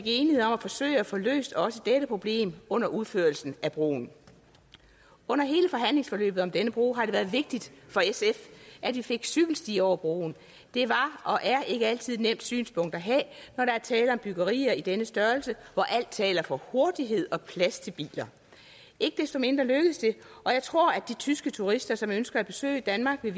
enighed om at forsøge at få løst også dette problem under udførelsen af broen under hele forhandlingsforløbet om denne bro har det været vigtigt for sf at vi fik cykelsti over broen det var og er ikke altid et nemt synspunkt at have når der er tale om byggerier af denne størrelse hvor alt taler for hurtighed og plads til biler ikke desto mindre lykkedes det og jeg tror at de tyske turister som ønsker at besøge danmark vil